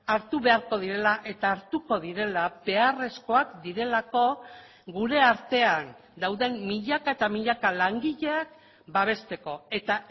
hartu beharko direla eta hartuko direla beharrezkoak direlako gure artean dauden milaka eta milaka langileak babesteko eta